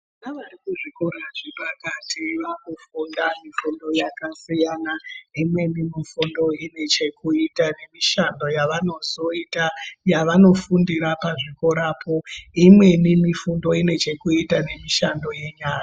Vana vari kuzvikoro zvepakati vakufunda fundo yakasiyanaimweni mifundo ine chekuita nemishando yavanozoita yavanofundira pachikorapo imweni mifundo inechekuita nemishando yenyara.